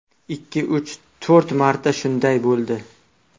Ikki, uch, to‘rt marta shunday bo‘ldi.